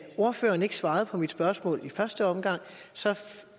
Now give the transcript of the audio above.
ordføreren ikke svarede på mit spørgsmål i første omgang